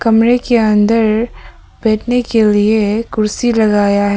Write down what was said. कमरे के अंदर बैठने के लिए कुर्सी लगाया है